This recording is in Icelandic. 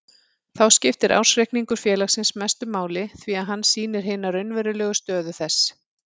Þá skiptir ársreikningur félagsins mestu máli því að hann sýnir hina raunverulegu stöðu þess.